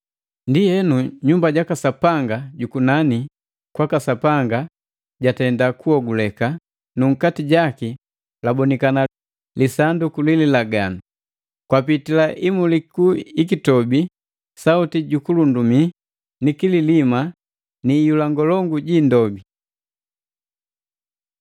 Ndienu nyumba jaka Sapanga jukunani kwaka Sapanga latenda kuhoguleka nu nkati jaki labonikana lisanduku lililaganu. Kwapitila imuliku ikikitobi, Sauti ju kulundumi, ni kililima ni iyula ngolongu ji indobi.